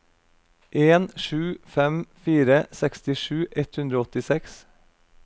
en sju fem fire sekstisju ett hundre og åttiseks